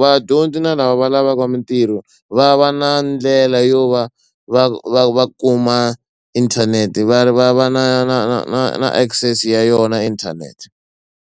vadyondzi na lava va lavaka mitirho va va na ndlela yo va va va va kuma inthanete va va va na na na na na access ya yona inthanete.